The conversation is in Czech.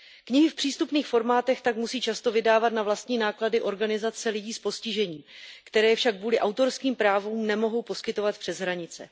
Knihy v přístupných formátech tak musí často vydávat na vlastní náklady organizace lidí s postižením, které je však kvůli autorským právům nemohou poskytovat přes hranice.